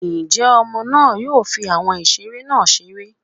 njẹ ọmọ náà yoo fí awọn ìseré nah ṣeré.